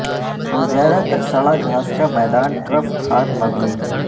وہ زیادہ تر سڑا گھاس کا میدان ٹرف کھاد مبنی ہیں